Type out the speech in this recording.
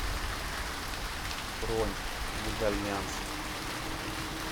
бронь медальянс